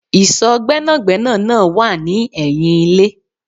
Ìsò Gbẹ́nàgbẹ́nà náà wá ni ẹyin ilé